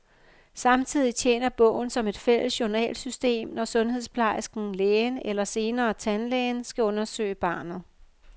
Samtidig tjener bogen som et fælles journalsystem, når sundhedsplejersken, lægen eller senere tandlægen skal undersøge barnet.